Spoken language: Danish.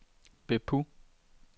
Beppu